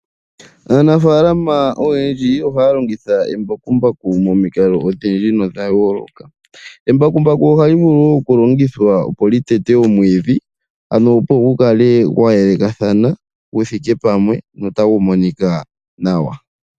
Aanafalama oyendji ohaya longitha embakumbaku momikalo odhindji nodhayooloka. Embakumbaku ohali vulu okulongithwa okuteta omwiidhi opo gukale gwayelekathana guthike pamwe notafu monika nawa.